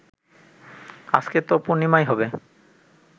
আজকে তো পূর্ণিমাই হবে